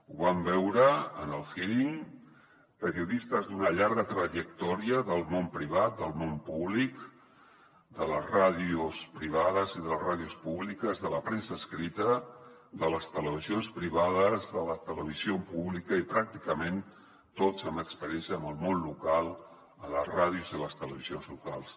ho vam veure en el hearing periodistes d’una llarga trajectòria en el món privat el món públic les ràdios privades i les ràdios públiques la premsa escrita les televisions privades la televisió pública i pràcticament tots amb experiència en el món local a les ràdios i les televisions locals